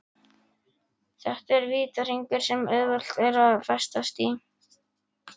Þetta er vítahringur sem auðvelt er að festast í.